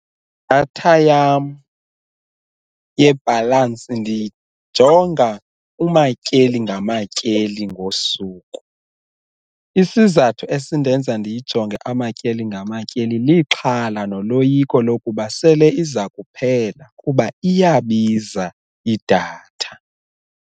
Idatha yam yebhalansi ndiyijonga umatyeli ngamatyeli ngosuku, isizathu esindenza ndiyijonge amatyeli ngamatyeli lixhala noloyiko lokuba sele iza kuphela kuba iyabiza idatha.